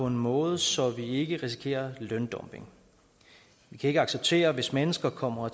en måde så man ikke risikerer løndumping vi kan ikke acceptere hvis mennesker kommer